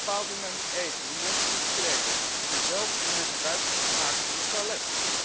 Ze bepaalt hoe men moet eten, hoe men zich moet kleden, en zelfs hoe men gebruik dient te maken van het toilet.